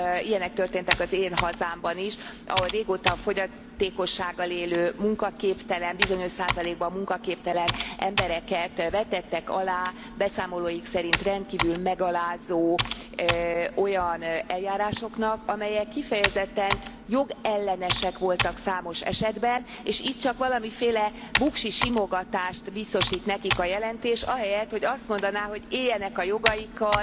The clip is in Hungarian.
Ilyenek történtek az én hazámban is, ahol régóta fogyatékossággal élő, munkaképtelen, bizonyos százalékban munkaképtelen embereket vetettek alá beszámolóik szerint rendkívül megalázó olyan eljárásoknak, amelyek kifejezetten jogellenesek voltak számos esetben, és itt csak valamiféle buksi simogatást biztosít nekik a jelentés ahelyett, hogy azt mondaná, hogy éljenek a jogaikkal,